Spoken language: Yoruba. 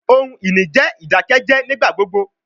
Ohun-ini jẹ idakẹjẹ nigbagbogbo